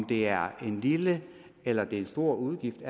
det er en lille eller det er en stor udgift